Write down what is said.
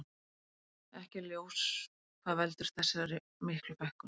Ekki er ljós hvað veldur þessar miklu fækkun.